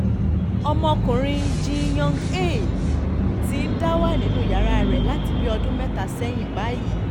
ọmọkùnrin jin young-hae ti ń dá wà nínú yàrá rẹ̀ láti bí ọdún mẹ́ta sẹ́yìn báyìí